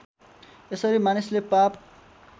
यसरी मानिसले पाप